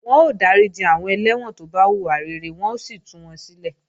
Wọ́n ó dáríji àwọn ẹlẹ́wọ̀n tó bá hùwà rere wọ́n ó sì tú wọn sílẹ̀